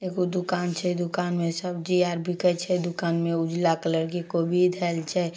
एगो दुकान छै दुकान में सब्जी यार बिकय छै दुकान में उजला कलर के कोवि धैल छै।